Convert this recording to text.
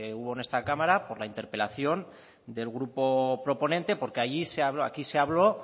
hubo en esta cámara por la interpelación del grupo proponente porque aquí se habló